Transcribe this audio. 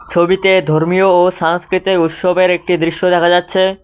ছবিতে ধর্মীও ও সাংস্কৃতিক উৎসবের একটি দৃশ্য দেখা যাচ্ছে।